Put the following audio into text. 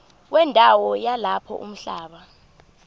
wendawo yalapho umhlaba